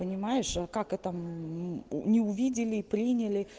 понимаешь а как это мм не увидели приняли